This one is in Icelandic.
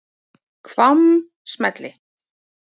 Hvammsmeli